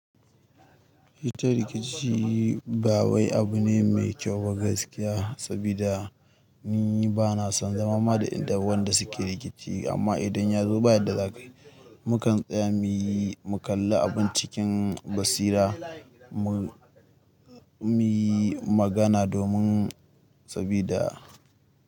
Hita rikici ba wai abu ne mai kyau ba gaskiya, sabida ni bana son zama ma da wanda suke rikici. Amma idan ya zo bayan da za kayi, mukan tsaya muyi mu kalla abun cikin basira, mu, mu yi magana domin sabida.